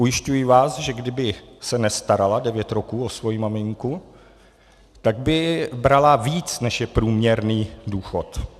Ujišťuji vás, že kdyby se nestarala devět roků o svoji maminku, tak by brala víc, než je průměrný důchod.